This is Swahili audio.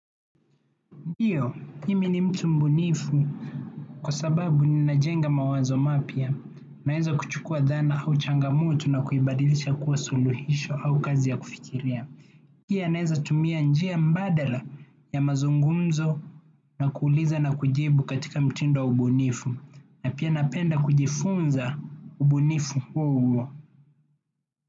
Ndiyo mimi ni mtu mbunifu kwasababu ninajenga mawazo mapya. Naeza kuchukua dhana au changamoto na kuibadilisha kuwa suluhisho au kazi ya kufikiria. Pia naeza tumia njia mbadala ya mazungumzo na kuuliza na kujibu katika mtindo wa ubunifu. Na pia napenda kujifunza ubunifu huo huo.